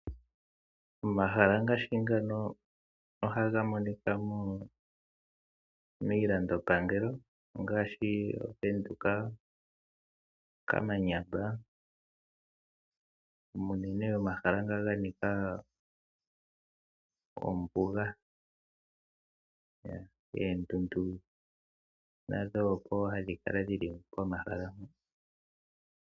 Omahala ngaashi ngaano ohaga monika miilandopangelo ngaashi Ovenduka, kamanyamba uunene omahala ngoka ga nika ombuga. Oondundu nadho ohadhi kala dhili komahala ho.